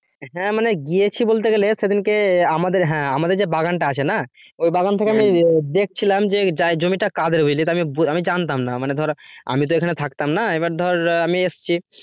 হ্যাঁ মানে গিয়েছি বলতে গেলে সেদিনকে আমাদের হ্যাঁ আমাদের যে বাগানটা আছে না ওই বাগান থেকে আমি দেখছিলাম যে জমিটা কাদের বুঝলি তা আমি আমি জানতাম না মানে ধর আমি তো এখানে থাকতাম না এবার ধর আমি এসছি